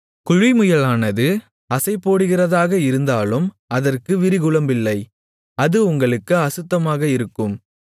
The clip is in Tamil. குழிமுயலானது அசைபோடுகிறதாக இருந்தாலும் அதற்கு விரிகுளம்பில்லை அது உங்களுக்கு அசுத்தமாக இருக்கும்